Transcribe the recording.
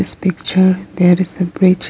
this picture there is a bridge.